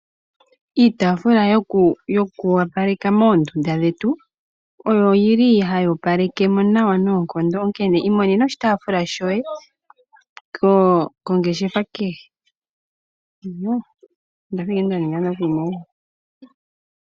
Iitafula yo kuwapaleka moondunda dhetu oyili hayi opalekamo noonkondo onkene iimonena oshitafula shoye kongeshefa kehe.